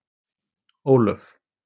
Ólöf